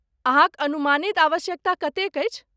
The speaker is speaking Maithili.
अहाँक अनुमानित आवश्यकता कतेक अछि?